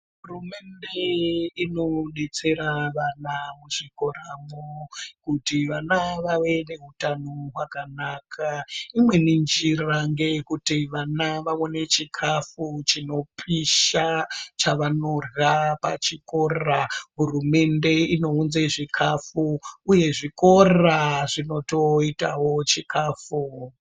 Hurumende inodetsera vana muzvikoramo kuti vana vave nehutano hwakanaka imweni njira ndeyekuti vana vawane chikafu chinopisha chvanodya pachikora, hurumende inounze zvikafu uye zvikora zvinotoitawo chikafu.